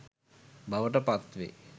බවට පත් වෙයි.